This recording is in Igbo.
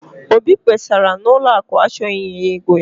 obi kpesara na ụlọ akụ achọghị inye ya ego ya